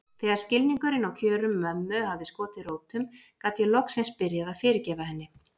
Þegar skilningurinn á kjörum mömmu hafði skotið rótum gat ég loksins byrjað að fyrirgefa henni.